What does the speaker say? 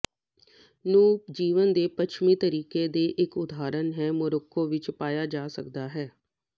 ਨੂੰ ਜੀਵਨ ਦੇ ਪੱਛਮੀ ਤਰੀਕੇ ਦੀ ਇੱਕ ਉਦਾਹਰਨ ਹੈ ਮੋਰੋਕੋ ਵਿੱਚ ਪਾਇਆ ਜਾ ਸਕਦਾ ਹੈ